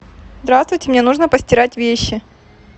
здравствуйте мне нужно постирать вещи